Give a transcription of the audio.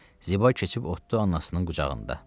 Ziba keçib oturdu anasının qucağında.